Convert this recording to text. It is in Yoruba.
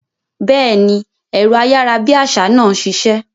Béèni, ẹ̀rọ ayárabíàṣá náà ṣiṣẹ́